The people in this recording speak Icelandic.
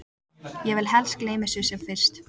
Ég vil helst gleyma þessu sem fyrst.